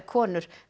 konur